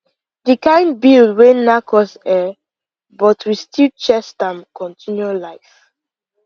the kind bill wey nack us ehhn but we still chest am continue life